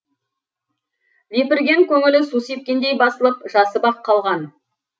лепірген көңілі су сепкендей басылып жасып ақ қалған